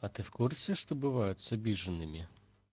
а ты в курсе что бывает с обиженными